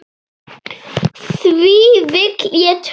Því vill ég trúa.